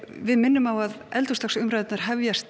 við minnum á að eldhúsdagsumræðurnar hefjast